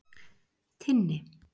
Tinni